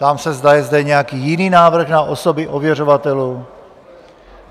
Ptám se, zda je zde nějaký jiný návrh na osoby ověřovatelů.